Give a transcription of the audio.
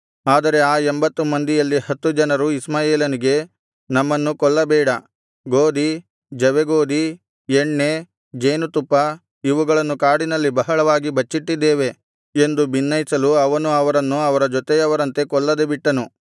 ಆದರೆ ಆ ಎಂಭತ್ತು ಮಂದಿಯಲ್ಲಿ ಹತ್ತು ಜನರು ಇಷ್ಮಾಯೇಲನಿಗೆ ನಮ್ಮನ್ನು ಕೊಲ್ಲಬೇಡ ಗೋದಿ ಜವೆಗೋದಿ ಎಣ್ಣೆ ಜೇನುತುಪ್ಪ ಇವುಗಳನ್ನು ಕಾಡಿನಲ್ಲಿ ಬಹಳವಾಗಿ ಬಚ್ಚಿಟ್ಟಿದ್ದೇವೆ ಎಂದು ಬಿನ್ನೈಸಲು ಅವನು ಅವರನ್ನು ಅವರ ಜೊತೆಯವರಂತೆ ಕೊಲ್ಲದೆ ಬಿಟ್ಟನು